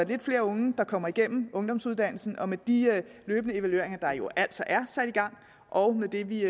lidt flere unge der kommer igennem ungdomsuddannelsen og med de løbende evalueringer der jo altså er sat i gang og med det vi